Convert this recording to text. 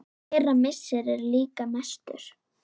Þeirra missir er líka mestur.